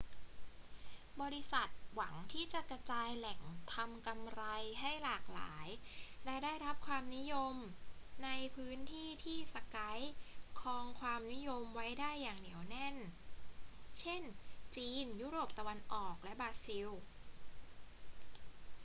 บริษัทหวังที่จะกระจายแหล่งทำกำไรให้หลากหลายและได้รับความนิยมในพื้นที่ที่ skype ครองความนิยมไว้ได้อย่างเหนียวแน่น เช่น จีน ยุโรปตะวันออก และบราซิล